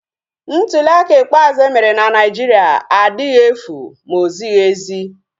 Ntuliaka ikpeazụ emere na Naijiria adịghị efu ma ozighi ezi